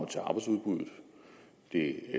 til arbejdsudbuddet det